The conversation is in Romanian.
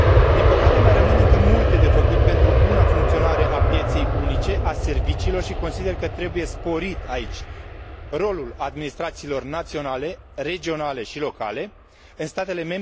Din păcate, mai rămân încă multe de făcut pentru buna funcționare a pieței unice a serviciilor și consider că trebuie sporit aici rolul administrațiilor naționale, regionale și locale în statele.